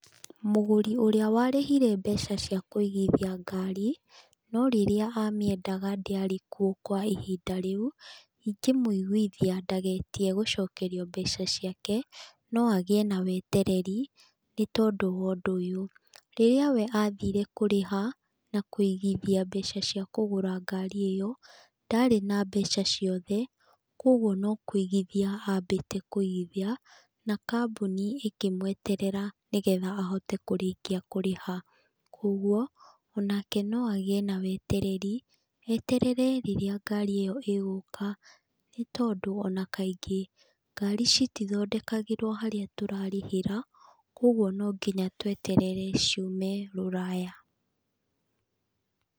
Mũgũri ũrĩa warĩhire mbeca cia kũigithia ngari, no rĩrĩa amĩendaga ndĩarĩkuo kwa ihinda rĩu, ingĩmũiguithia ndagetie gũcokerio mbeca ciake, no agĩe na wetereri nĩ tondũ wa ũndũ ũyũ: rĩrĩa we athire kũrĩha na kũigithia mbeca cia kũgũra ngari ĩyo ndarĩ na mbeca ciothe, kugwo no kũigithia ambĩte kũigithia na kambuni ĩkĩmũeterera, nĩ getha ahote kũrĩkia kũrĩha. Koguo onake no agĩe na wetereri, eterere rĩrĩa ngari ĩyo ĩgũka, nĩ tondũ ona kaingĩ ngari itithondekagĩrwo harĩa tũrarĩhĩra, koguo no nginya tweterere ciume Rũraya.